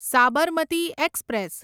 Sabarmati express